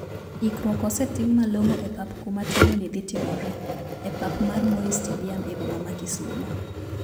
Ikruok osetim malongo e pap kuma tugo ni dhi timore,e pap mar Moi staduim e boma ma kisumo.